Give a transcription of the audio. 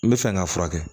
N bɛ fɛ k'a furakɛ